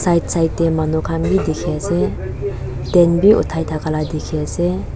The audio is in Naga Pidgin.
side side te manu khan bhi dekhi ase tent bhi uthai thaka laga dekhi ase.